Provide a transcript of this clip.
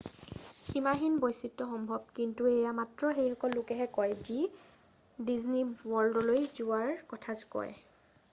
"সীমাহীন বৈচিত্ৰ সম্ভৱ কিন্তু এয়া মাত্ৰ সেইসকল লোকেহে কয় যি "ডিজনী ৱৰ্ল্ডলৈ যোৱাৰ কথা কয়।""